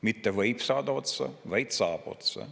Mitte võib saada otsa, vaid saab otsa!